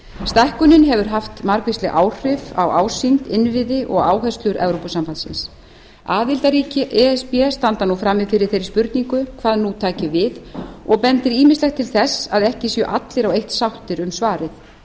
stækkunin hefur haft margvísleg áhrif á ásýnd innviði og áherslur evrópusambandsins aðildarríki e s b standa nú frammi fyrir þeirri spurningu hvað nú taki við og bendir ýmislegt til þess að ekki séu allir á eitt sáttir um svarið